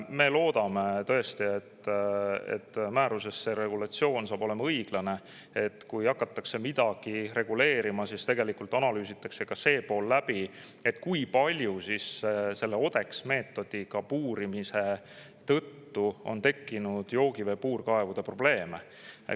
Me loodame tõesti, et see regulatsioon saab määruses olema õiglane, ja kui hakatakse midagi reguleerima, siis analüüsitakse läbi ka see pool, kui palju selle ODEX-meetodiga puurimise tõttu on tekkinud joogivee puurkaevudega probleeme.